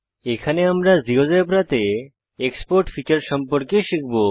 এখানে আমরা জীয়োজেব্রাতে এক্সপোর্ট ফীচার সম্পর্কে শিখব